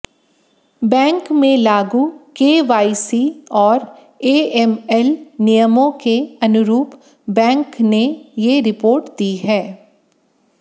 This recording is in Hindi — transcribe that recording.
बैंक में लागू केवाईसी और एएमएल नियमों के अनुरूप बैंक ने ये रिपोर्ट दी है